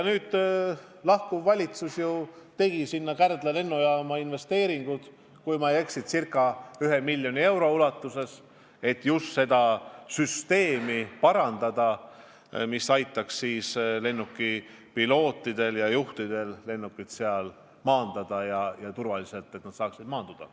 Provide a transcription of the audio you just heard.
Lahkuv valitsus investeeris Kärdla lennujaama, kui ma ei eksi, miljon eurot, et parandada just seda süsteemi, mis aitaks pilootidel lennukit turvaliselt maandada.